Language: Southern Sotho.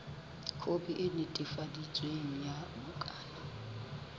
khopi e netefaditsweng ya bukana